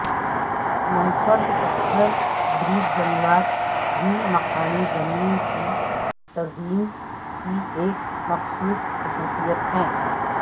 منفرد پتھر برچ جنگلات بھی مقامی زمین کی تزئین کی ایک مخصوص خصوصیت ہے